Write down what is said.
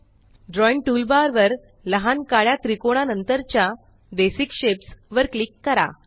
drawing toolbar वर लहान काळ्या त्रिकोणा नंतरच्या बेसिक शेप्स वर क्लिक करा